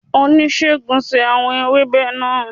Onisegun ṣe awọn ewebe naa